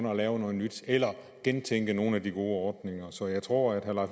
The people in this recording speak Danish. at lave noget nyt eller at gentænke nogle af de gode ordninger så jeg tror at herre